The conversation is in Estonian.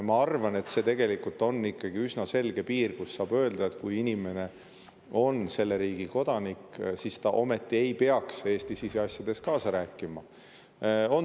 Ma arvan, et on ikkagi üsna selge piir, kus saab öelda, et kui inimene on selle riigi kodanik, siis ta ometi ei peaks Eesti siseasjades kaasa rääkima.